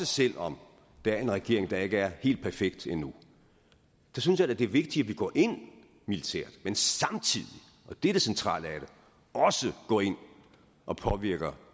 selv om der er en regering der ikke er helt perfekt endnu der synes jeg da det er vigtigt at vi går ind militært men samtidig og det er det centrale af det også går ind og påvirker